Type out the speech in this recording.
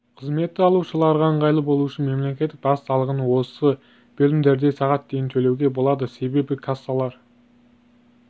қызметті алушыларға ыңғайлы болу үшін мемлекеттік баж салығын осы бөлімдерде сағат дейін төлеуге болады себебі кассалар